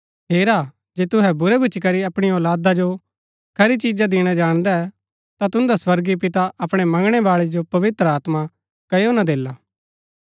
हेरा जे तुहै बुरै भूच्ची करी अपणी औलादा जो खरी चिजा दिणा जाणदै ता तुन्दा स्वर्गीय पिता अपणै मंगणै बाळै जो पवित्र आत्मा कओ न देला